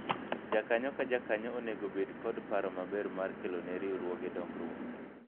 jakanyo ka jakanyo onego bedo kod paro maber mar kelone riwruoge dongruok